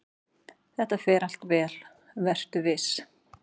"""Þetta fer allt vel, vertu viss!"""